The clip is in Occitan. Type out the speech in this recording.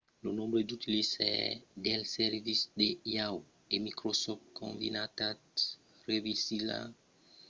lo nombre d'utilizaires dels servicis de yahoo! e microsoft combinats rivalizarà amb lo nombre de clients d'aol